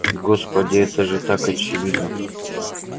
господи это же так очевидно